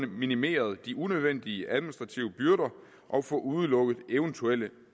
minimeret de unødvendige administrative byrder og få udelukket eventuelle